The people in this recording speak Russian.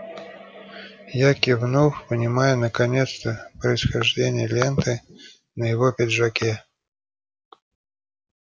я кивнул понимая наконец-то происхождение ленты на его пиджаке